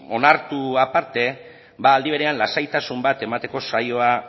onartzeaz aparte aldi berean lasaitasun bat emateko saioa